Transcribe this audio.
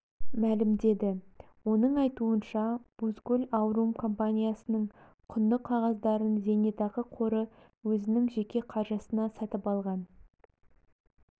мәлімдеді оның айтуынша бузгул аурум компаниясының құнды қағаздарын зейнетақы қоры өзінің жеке қаржысына сатып алған